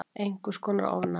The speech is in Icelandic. Einhvers konar ofnæmi.